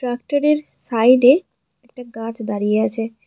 ফ্যাক্টরির সাইডে একটা গাছ দাঁড়িয়ে আছে।